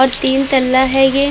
और तीन तल्ला है ये ।